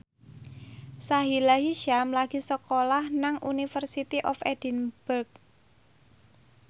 Sahila Hisyam lagi sekolah nang University of Edinburgh